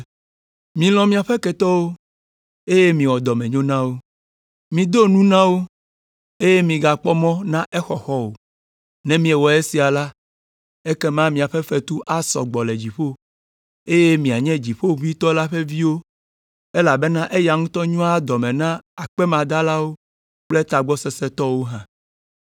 “Milɔ̃ miaƒe ketɔwo, eye miwɔ dɔmenyo na wo. Mido nu na wo, eye migakpɔ mɔ na exɔxɔ o. Ne miewɔ esia la, ekema miaƒe fetu asɔ gbɔ le dziƒo, eye mianye Dziƒoʋĩtɔ la ƒe viwo elabena eya ŋutɔ nyoa dɔme na akpemadalawo kple tagbɔ sesẽ tɔwo hã.